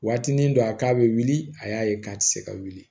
Waatinin dɔ a k'a bɛ wuli a y'a ye k'a tɛ se ka wuli